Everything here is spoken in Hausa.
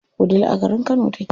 Wudil a garin Kano take.